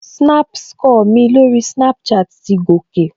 Snap score mi lórí Snapchat ti gòkè